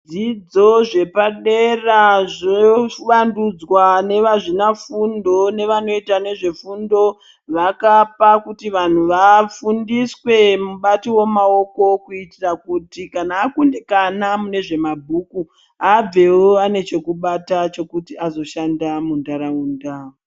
Dzidzo zvepa dera zvovandudzwa nevazvina fundo nevanoita nezve fundo vakapa kuti vanhu vafundiswe mubati womaoko kuitira kuti kana akundikana mune zvemabhuku abvewo ane chekubata chokuti azoshanda mundaraunda.